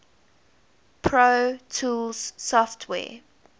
pro tools software